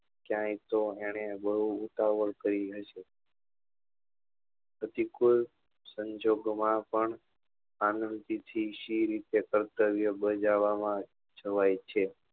ક્યાય તો એને બઉ ઉતાવળ કરી હશે પછી કોઈ સંજોગો માં પણ શી રીતી થી કર્તવ્ય બજાવવા માં છવાઈ છે